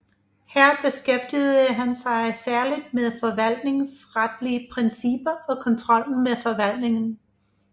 Her beskæftigede han sig særligt med forvaltningsretlige principper og kontrollen med forvaltningen